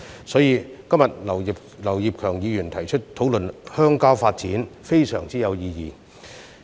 所以，今天劉業強議員提出討論鄉郊發展，可說是非常有意義。